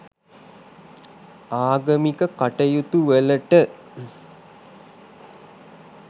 ආගමික කටයුතුවලට